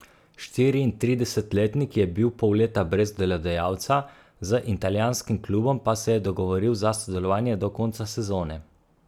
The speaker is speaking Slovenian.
Štiriintridesetletnik je bil pol leta brez delodajalca, z italijanskim klubom pa se je dogovoril za sodelovanje do konca sezone.